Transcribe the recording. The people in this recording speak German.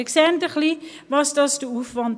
Sie sehen ein wenig den Aufwand.